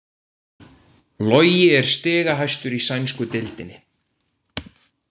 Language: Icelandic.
Logi er stigahæstur í sænsku deildinni